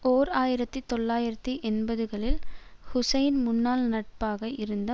ஓர் ஆயிரத்தி தொள்ளாயிரத்தி எண்பதுகளில் ஹுசைனின் முன்னாள் நட்பாக இருந்த